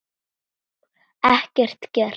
Ekkert gert?